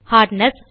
hardness